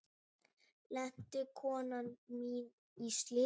Lenti konan mín í slysi?